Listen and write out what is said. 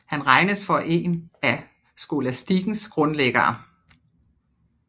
Han regnes for en af skolastikens grundlæggere